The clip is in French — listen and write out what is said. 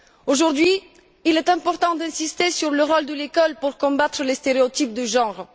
Aujourd'hui, il est important d'insister sur le rôle de l'école pour combattre les stéréotypes de genre.